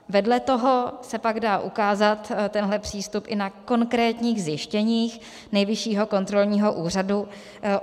Vedle toho se pak dá ukázat tenhle přístup i na konkrétních zjištěních Nejvyššího kontrolního úřadu.